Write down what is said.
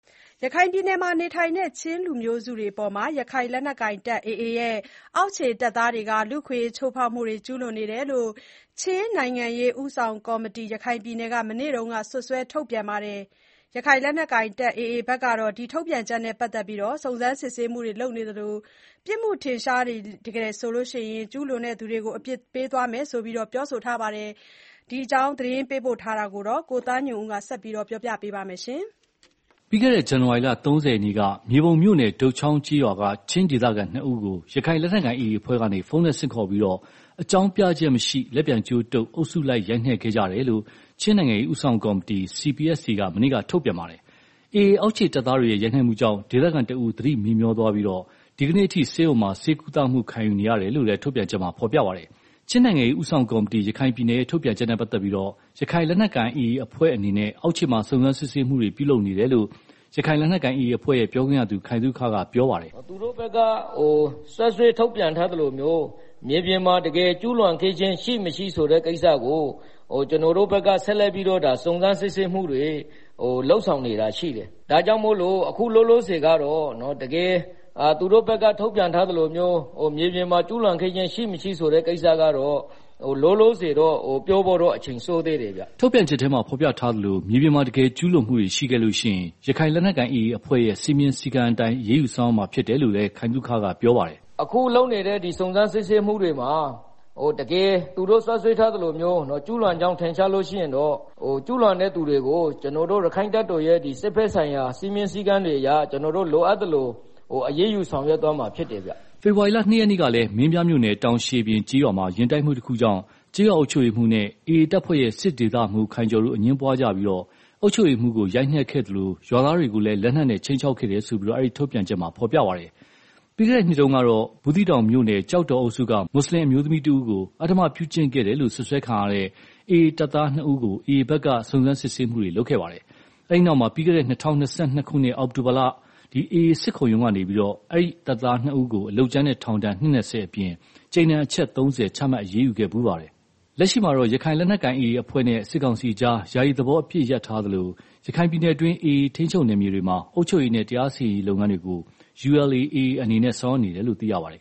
ရခိုင်ပြည်နယ်မှာနေထိုင်တဲ့ ချင်းလူမျိုးစုတွေအပေါ်မှာ ရခိုင်လက်နက်ကိုင် AA အဖွဲ့ရဲ့ အောက်ခြေတပ်သားတွေ လူ့အခွင့်အရေးချိုးဖောက်မှုတွေ ကျူးလွန်နေတယ်လို့ ချင်းနိုင်ငံရေးဦးဆောင်ကော်မတီ(ရခိုင်ပြည်နယ်)က မနေ့က စွပ်စွဲထုတ်ပြန်ပါတယ်။ ရခိုင်လက်နက်ကိုင် AA အဖွဲ့ဖက်ကတော့ ထုတ်ပြန်ချက်နဲ့ ပတ်သတ်ပြီး စုံစမ်းစစ်ဆေးမှုတွေ လုပ်နေသလို ပြစ်မှုထင်ရှားရင် ကျူးလွန်သူတွေကို အပြစ်ပေးသွားမယ်လို့ ပြောဆိုထားပါတယ်။ ဒီအကြောင်းသတင်းပေးပို့ထားတာ ကိုသားညွန့်ဦး ပြောပြပါမယ်။ ပြီးခဲ့တဲ့ ဇန်နဝါရီလ ၃၀ရက်နေ့က မြေပုံမြို့နယ် တုတ်ချောင်းကျေးရွာက ချင်းဒေသခံ ၂ ဦးကို ရခိုင်လက်နက်ကိုင် AA အဖွဲ့က ဖုန်းနဲ့ဆင့်ခေါ်ပြီး အကြောင်းပြချက်မရှိ လက်ပြန်ကြိုးတုတ် အုပ်စုလိုက်ရိုက်နှက်ကြခဲ့တယ်လို့ ချင်းနိုင်ငံရေးဦးဆောင်ကော်မတီ(CPSC)က မနေ့က ထုတ်ပြန်ထားပါတယ်။ AA အောက်ခြေတပ်သားတွေရဲ့ ရိုက်နက်မှုကြောင့် ဒေသခံတစ်ဦး သတိမေ့သွားခဲ့ပြီး ဒီကနေ့အထိ ဆေးရုံမှာ ဆေးကုသမှုခံယူနေရတယ်လို့ လည်း ထုတ်ပြန်ချက်မှာ ဖော်ပြထားပါတယ်။ ချင်းနိုင်ငံရေးဦးဆောင်ကော်မတီ(ရခိုင်ပြည်နယ်)ရဲ့ ထုတ်ပြန်ချက် နဲ့ ပတ်သတ်ပြီး ရခိုင်လက် နက်ကိုင် AA အဖွဲ့အနေနဲ့ အောက်ခြေမှာ စုံစမ်းစစ်ဆေးမှုတွေ ပြုလုပ်နေတယ်လို့ ရခိုင်လက်နက်ကိုင် AA အဖွဲ့ပြောခွင့်ရ ခိုင်သုခကပြောပါတယ်။ “ သူတို့ဖက်က စွပ်စွဲ ထုတ်ပြန်ထားသလိုမျိုး မြေပြင်မှာ တကယ်ကျုးလွန်တာ ရှိမရှိဆိုတာကို ကျနော်တို့ဖက်က ဆက်လက်ပြီးတော့ စုံစမ်းစစ်ဆေးမှုတွေ လုပ်ဆောင်နေတာတွေရှိတယ်၊ ဒါကြောင့်မလို့ အခုလောလောဆယ် သူတို့ဖက်က ထုတ်ပြန်ထားသလိုမျိုး မြေပြင်မှာ ကျူးလွန်တာရှိမရှိဆိုတာကိုတော့ လောလောဆယ်ပြောဖို့တော့ အချိန်စောသေးတယ်ဗျာ။” ထုတ်ပြန်ချက်မှာ ဖော်ပြထားသလို မြေပြင်မှာ တကယ်ကျူးလွန်တာတွေရှိခဲ့ရင် ရခိုင်လက်နက်ကိုင် AA အဖွဲ့ရဲ့ စည်းမျဉ်းစည်းအတိုင်း အရေးယူဆောင်ရွက်သွားမှာဖြစ်တယ်လို့လဲ ခိုင်သုခကပြောပါတယ်။ “ အခုလုပ်နေတဲ့ စုံစမ်းစစ်ဆေးမှုတွေမှာ တကယ်သူတို့ စွပ်စွဲထားသလိုမျိုး ကျူးလွန်ကြောင်း ထင်ရှားလို့ရှိရင်တော့ ကျူးလွန်တဲ့သူတွေကို ကျနော်တို့ ရက္ခိုင့်တပ်တော်ရဲ့ စစ်ဖက်ဆိုင်ရာ စည်းမျဉ်းစည်းကမ်းတွေအရ ကျနော်တို့ လိုအပ်သလို အရေးယူဆောင်ရွက်သွားမှာ ဖြစ်ပါတယ်ဗျာ။” ဖေဖော်ဝါရီလ ၂ရက်နေ့ကလည်း မင်းပြားမြို့နယ် တောင်ရှည်ပြင်ကျေးရွာမှာ ယာဉ်တိုက်မှုတခုကြောင့် ကျေးရွာအုပ်ချုပ်ရေးမှူးနဲ့ AA တပ်ဖွဲ့ရဲ့ စစ်ဒေသမှူး ခိုင်ကျော်တို့ အငြင်းပွားကြပြီး အုပ်ချုပ်ရေးမှူးကို ရိုက်နှက်ခဲ့သလို ရွာသားတွေကိုလည်း လက်နက်နဲ့ ခြိမ်းခြောက်ခဲ့တယ်လို့ ထုတ်ပြန်ချက်မှာဖော်ထားပါတယ်။ ပြီးခဲ့တဲ့နှစ်တုန်းကတော့ ဘူးသီးတောင်မြို့နယ် ကျောင်းတောင်အုပ်စုက မွတ်ဆလင်အမျိုးသမီးတစ်ဦးကို အဓမ္မပြုကျင့်ခဲ့တယ်လို့ စွပ်စွဲခံရတဲ့ AA တပ်သား ၂ ဦးကို AA ဖက်က စုံစမ်းစစ်ဆေးမှုတွေလုပ်ခဲ့ပါတယ်။ အဲဒီနောက် ပြီးခဲ့တဲ့ ၂၀၂၂ ခုနှစ် အောက်တိုဘာလမှာ AA စစ်ခုံရုံးက အလုပ်ကြမ်းနဲ့ အဲဒီတပ်သားနှစ်ဦးကို ထောင်ဒဏ် နှစ် ၂၀ အပြင် ကြိမ်ဒဏ်အချက် ၃၀ ချက် ချမှတ်အရေးယူခဲ့ဖူးပါတယ်။ လက်ရှိမှာတော့ ရခိုင်လက်နက်ကိုင် AA အဖွဲ့အနေနဲ့ စစ်ကောင်စီအကြား ယာယီသဘော အပစ်ရပ်ထားသလို၊ ရခိုင်ပြည်နယ်တွင်း AA ထိန်းချုပ်နယ်မြေတွေမှာ အုပ်ချုပ်ရေးနဲ့ တရားစီရင်ရေးလုပ်ငန်းတွေကို ULA/AA အနေနဲ့ ဆောင်ရွက်နေတယ်လို့ သိရပါတယ်